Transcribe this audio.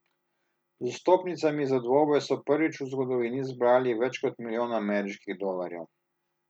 Z vstopnicami za dvoboj so prvič v zgodovini zbrali več kot milijon ameriških dolarjev.